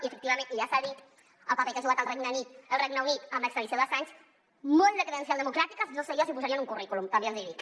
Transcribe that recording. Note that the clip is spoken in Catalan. i efectivament i ja s’ha dit el paper que ha jugat el regne unit en l’extradició d’assange molt de credencial democràtica no sé jo si posaria en un currículum també els hi dic